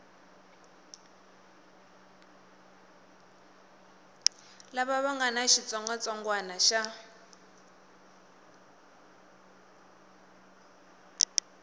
lava nga na xitsongwatsongwana xa